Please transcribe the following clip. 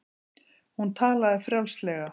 Hún talaði frjálslega.